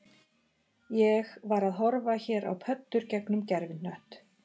Ég var að horfa hér á pöddur gegnum gervihnött